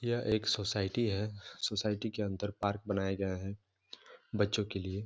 यह एक सोसाइटी है सोसाइटी के अंदर पार्क बनाया गया है बच्चो के लिए।